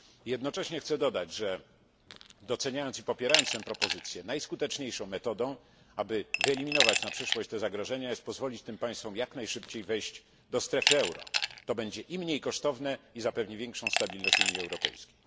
Jednocześnie chcę dodać, że, niezależnie od doceniania i poparcia tej propozycji, najskuteczniejszą metodą, aby wyeliminować na przyszłość podobne zagrożenia jest pozwolenie tym państwom jak najszybciej wejść do strefy euro. To będzie i mniej kosztowne i zapewni większą stabilność Unii Europejskiej.